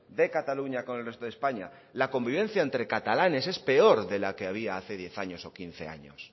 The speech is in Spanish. de cataluña con el resto de españa la convivencia entre catalanes es peor de la que había hace diez años o quince años